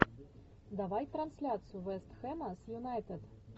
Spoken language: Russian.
давай трансляцию вест хэма с юнайтед